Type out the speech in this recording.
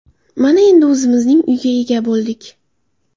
Mana, endi o‘zimizning uyga ega bo‘ldik.